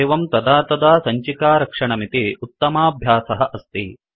एवं तदा तदा सञ्चिकारक्षणमिति उत्तमाभ्यासः अस्ति